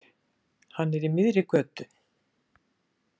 Hann er í miðri götu.